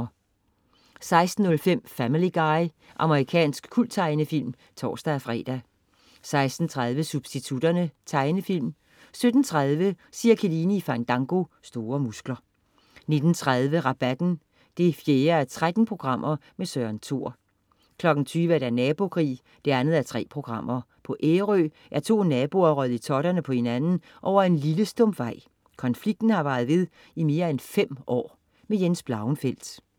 16.05 Family Guy. Amerikansk kulttegnefilm (tors-fre) 16.30 Substitutterne. Tegnefilm 17.30 Cirkeline i Fandango. Store muskler 19.30 Rabatten 4:13. Søren Thor 20.00 Nabokrig2:3 På Ærø er to naboer røget i totterne på hinanden over en lille stump vej. Konflikten har varet i mere end fem år. Jens Blauenfeldt